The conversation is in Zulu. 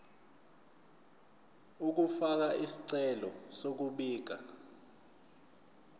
ukufaka isicelo sokubika